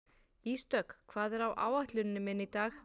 Ísdögg, hvað er á áætluninni minni í dag?